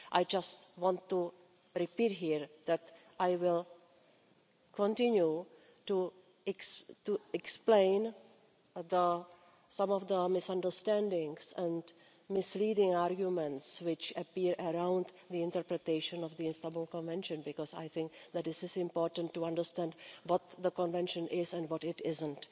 I just want to repeat here that I will continue to explain some of the misunderstandings and misleading arguments which appear around the interpretation of the Istanbul Convention, because I think that it is important to understand what the Convention is and what it isn't.